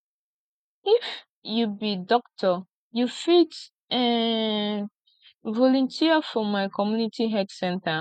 if you be doctor you fit um volunteer for my community health center